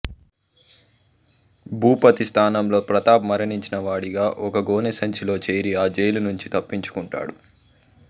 భూపతి స్థానంలో ప్రతాప్ మరణించిన వాడిగా ఒక గోనెసంచిలో చేరి ఆ జైలు నుంచి తప్పించుకుంటాడు